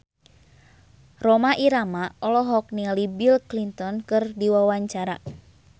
Rhoma Irama olohok ningali Bill Clinton keur diwawancara